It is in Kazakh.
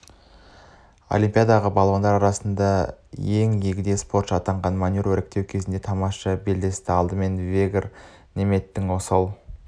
олимпиададағы балуандар арасында ең егде спортшы атанған манюрова іріктеу кезеңінде тамаша белдесті алдымен вегр неметтің осал